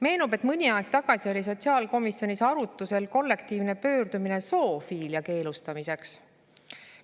Meenub, et mõni aeg tagasi oli sotsiaalkomisjonis arutusel kollektiivne pöördumine zoofiilia keelustamiseks.